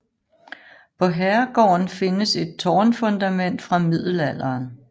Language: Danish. På herregården findes et tårnfundament fra middelalderen